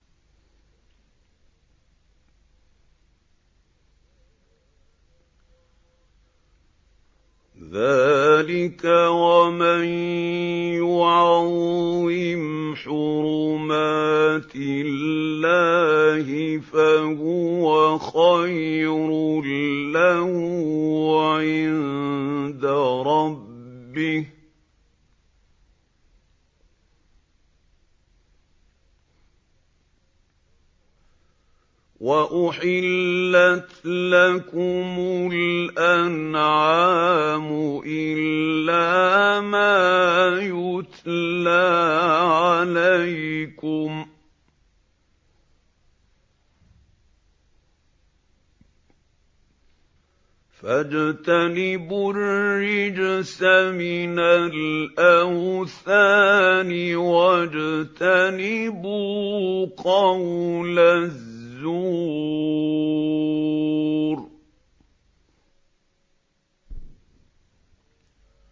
ذَٰلِكَ وَمَن يُعَظِّمْ حُرُمَاتِ اللَّهِ فَهُوَ خَيْرٌ لَّهُ عِندَ رَبِّهِ ۗ وَأُحِلَّتْ لَكُمُ الْأَنْعَامُ إِلَّا مَا يُتْلَىٰ عَلَيْكُمْ ۖ فَاجْتَنِبُوا الرِّجْسَ مِنَ الْأَوْثَانِ وَاجْتَنِبُوا قَوْلَ الزُّورِ